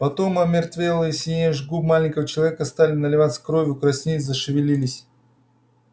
потом омертвелые синеющие губы маленького человека стали наливаться кровью краснеть зашевелились